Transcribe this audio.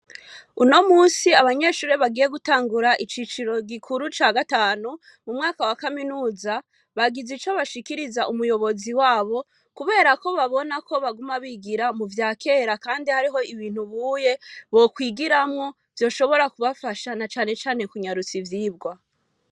Uno musi abanyeshure bagiye gutangura iciciro gikuru ca gatanu mu mwaka wa kaminuza bagize ico bashikiriza umuyobozi wabo, kubera ko babona ko baguma bigira mu vya kera, kandi hariho ibintu buye bokwigiramwo vyoshobora kubafasha na canecane kunyarutsa ivyibwa.